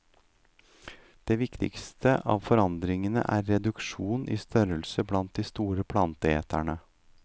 Den viktigste av forandringene er reduksjon i størrelse blant de store planteeterne.